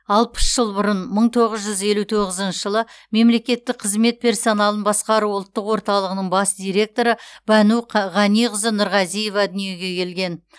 алпыс жыл бұрын мың тоғыз жүз елу тоғызыншы жылы мемлекеттік қызмет персоналын басқару ұлттық орталығының бас директоры бану ғаниқызы нұрғазиева дүниеге келген